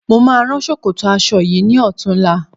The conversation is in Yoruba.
Mo máa rán ṣòkòtò aṣọ yìí ní ọ̀tunla